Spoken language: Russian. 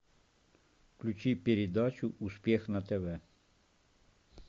включи передачу успех на тв